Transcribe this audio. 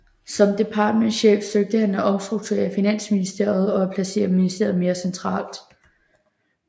Som departementschef søgte han at omstrukturere Finansministeriet og at placere ministeriet mere centralt